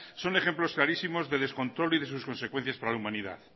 son ejemplos clarísimos de descontrol y de sus consecuencias para la humanidad